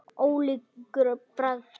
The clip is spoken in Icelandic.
Ólíkur bragur.